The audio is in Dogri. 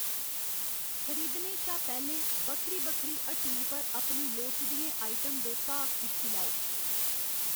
खरीदने शा पैह्‌लें, बक्खरी बक्खरी हट्टियें पर अपनी लोड़चदियें आइटम दे भाऽ दिक्खी लेओ।